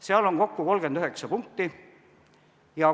Seal on kokku 39 punkti.